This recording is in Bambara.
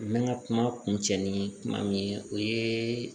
N bɛ n ka kuma kun cɛ ni kuma min ye o ye